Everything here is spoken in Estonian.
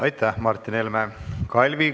Aitäh, Martin Helme!